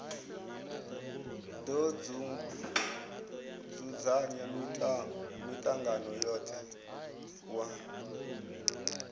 do dzudzanya mitangano yothe wa